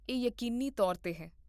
ਇਹ ਯਕੀਨੀ ਤੌਰ 'ਤੇ ਹੈ